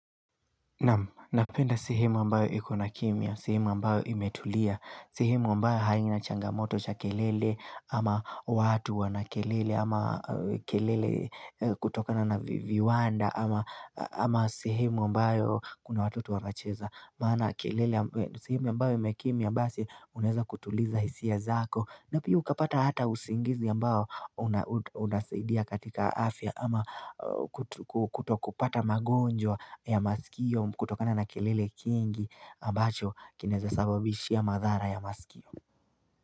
Napenda sehemu ambayo ikona kimya, s3hemu ambayo imetulia, sehemu ambayo haina changamoto cha kelele ama watu wana kelele ama kelele kutokana na viwanda ama ama sehemu ambayo kuna watoto wanacheza. Maana kelele ambaye sehemu ambayo imekimya basi unaeza kutuliza hisia zako na pia ukapata hata usingizi ambao una unasaidia katika afya ama kutokupata magonjwa ya masikio kutokana na kelele kingi ambacho kinaeza sababishi ya madhara ya masikio.